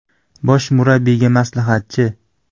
Bosh murabbiyga maslahatchi.